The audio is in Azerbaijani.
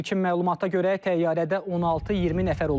İlkin məlumata görə, təyyarədə 16-20 nəfər olub.